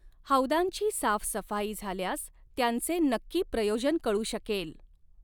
हौदांची साफ़सफ़ाई झाल्यास त्यांचे नक्की प्रयोजन कळू शकेल.